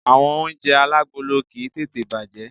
Àwon oúnje alágolo kìí tètè bàjé